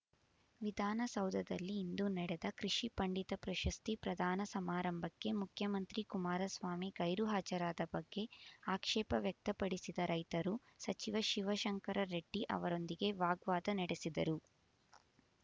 ವಿಧಾನ ಸೌಧದಲ್ಲಿ ಇಂದು ನಡೆದ ಕೃಷಿ ಪಂಡಿತ ಪ್ರಶಸ್ತಿ ಪ್ರಧಾನ ಸಮಾರಂಭಕ್ಕೆ ಮುಖ್ಯಮಂತ್ರಿ ಕುಮಾರಸ್ವಾಮಿ ಗೈರು ಹಾಜರಾದ ಬಗ್ಗೆ ಆಕ್ಷೇಪ ವ್ಯಕ್ತಪಡಿಸಿದ ರೈತರು ಸಚಿವ ಶಿವಶಂಕರ ರೆಡ್ಡಿ ಅವರೊಂದಿಗೆ ವಾಗ್ವಾದ ನಡೆಸಿದರು